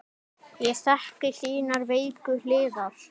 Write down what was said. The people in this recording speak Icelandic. Ég þekki þínar veiku hliðar.